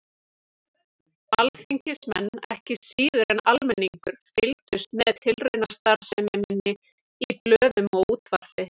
Alþingismenn, ekki síður en almenningur, fylgdust með tilraunastarfsemi minni í blöðum og útvarpi.